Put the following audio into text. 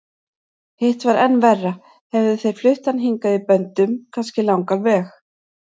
Hitt var enn verra, hefðu þeir flutt hann hingað í böndum, kannski langan veg.